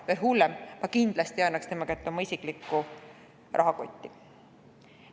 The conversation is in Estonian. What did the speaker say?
Veel hullem, ma kindlasti ei annaks tema kätte oma isiklikku rahakotti.